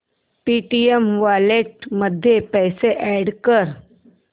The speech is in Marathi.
पेटीएम वॉलेट मध्ये पैसे अॅड कर